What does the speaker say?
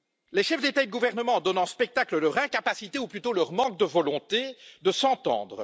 Les chefs d'État ou de gouvernement donnent en spectacle leur incapacité ou plutôt leur manque de volonté de s'entendre.